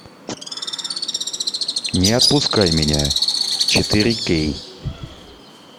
не отпускай меня четыре кей